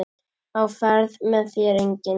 Á ferð með þér enginn.